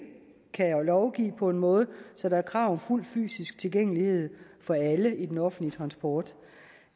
kan lovgive på en måde så der er krav om fuld fysisk tilgængelighed for alle i den offentlige transport